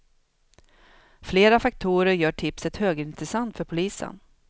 Flera faktorer gör tipset högintressant för polisen.